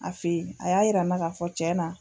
A fe yen a y'a yira n na ka fɔ cɛ na